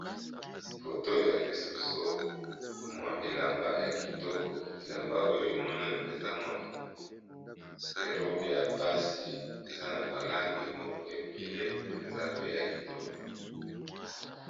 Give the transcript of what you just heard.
Foto elakisi biso mwa elamba ya kitoko, elamba oyo monani eza mwa robe ya basi, eza na balangi moko ebele mpenza pe ya kitoko.